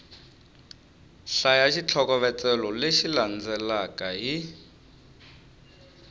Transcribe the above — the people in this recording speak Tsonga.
hlaya xitlhokovetselo lexi landzelaka hi